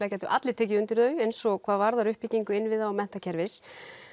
gætu allir tekið undir þau eins og hvað varðar uppbyggingu innviða menntakerfis